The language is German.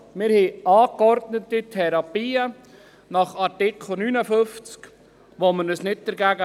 Wir haben angeordnete Therapien nach Artikel 59, gegen die wir uns nicht wehren.